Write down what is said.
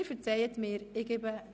Sie verzeihen mir dies.